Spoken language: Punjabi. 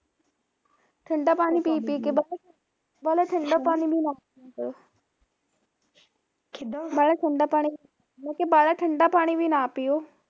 ਠੰਡਾ ਪਾਣੀ ਪੀ ਪੀ ਕੇ ਪਤਾ ਵਾਲਾ ਠੰਡਾ ਪਾਣੀ ਵੀ ਨਾ ਪਿਆ ਕਰੋ ਵਾਲਾਂ ਠੰਡਾ ਪਾਣੀ, ਮੈਂ ਕਿਹਾ ਵਾਲਾਂ ਠੰਡਾ ਪਾਣੀ ਵੀ ਨਾ ਪੀਓ